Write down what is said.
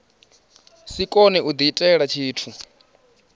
si kone u diitela tshithu